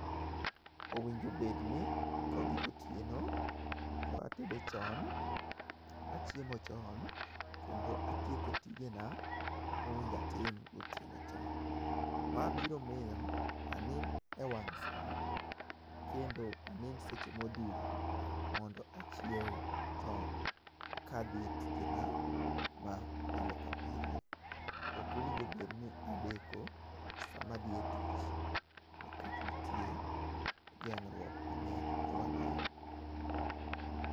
Owinjo bed ni kogik otieno to atedo chon, achiemo chon, kendo atieko tijena mowinjo atim gotieno chon. Ma biro miyo anind e wang' sa kendo anind seche modhuro, mondo achiew chon, kadhi e tijena mapile kapile. Ok owinjo bed ni adeko sama adhi e tich nikech nitie geng'ruok mang'eny e wang'a yo.